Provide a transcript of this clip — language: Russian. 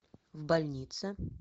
в больнице